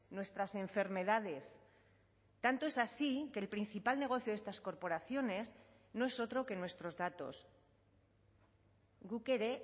nuestras enfermedades tanto es así que el principal negocio de estas corporaciones no es otro que nuestros datos guk ere